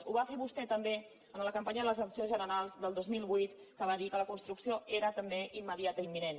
ho va fer vostè també en la campanya de les eleccions generals del dos mil vuit que va dir que la construcció era també immediata i imminent